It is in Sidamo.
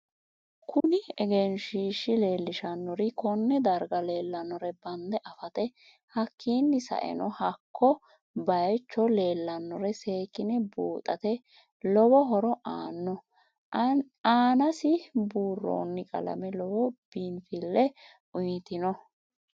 Kuni egenshiishi leelishanori konne darga leelanore bande afate hakiini saeno hakko bayiicho leelanore seekine buuxate lowo horo aano aansi buurooni qalame lowo biinfille uyiitanno